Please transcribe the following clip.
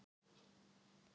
Út í lífið